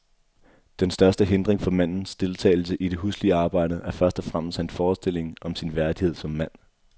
Den største hindring, for mandens deltagelse i det huslige arbejde, er først og fremmest hans forestilling om sin værdighed som mand.